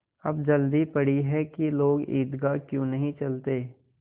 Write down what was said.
अब जल्दी पड़ी है कि लोग ईदगाह क्यों नहीं चलते